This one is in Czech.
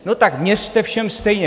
No tak měřte všem stejně.